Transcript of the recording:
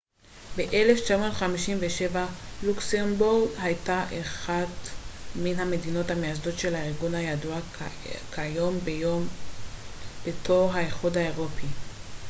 ב-1957 לוקסמבורג הייתה אחת מן המדינות המייסדות של הארגון הידוע כיום בתור האיחוד האירופי